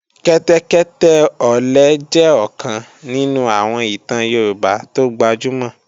Kẹ́tẹ́kẹ́tẹ́ ọ̀lẹ jẹ́ ọ̀kan nínú àwọn ìtàn Yorùbá tó gbajúmọ̀